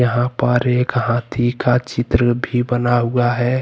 यहां पर एक हाथी का चित्र बना हुआ है।